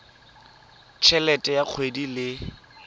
t helete ya kgwedi le